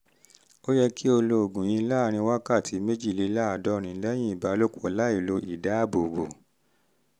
ó yẹ kí o lo oògùn yìí láàárín wákàtí méjìléláàádọ́rin lẹ́yìn ìbálòpọ̀ láìlo ìdáàbòbò